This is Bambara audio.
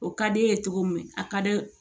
O ka d'e ye cogo min a ka di